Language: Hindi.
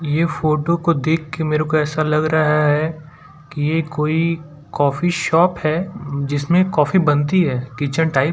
ये फोटो को देखके मेरे को ऐसा लग रहा है कि ये कोई कॉफ़ी शॉप है जिसमें कॉफी बनती है किचन टाइप --